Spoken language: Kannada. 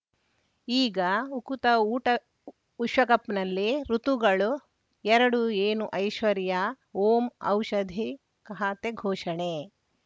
ಈಗ ಉಕುತ ಊಟ ವಿಶ್ವಕಪ್‌ನಲ್ಲಿ ಋತುಗಳು ಎರಡು ಏನು ಐಶ್ವರ್ಯಾ ಓಂ ಔಷಧಿ ಖಾತೆ ಘೋಷಣೆ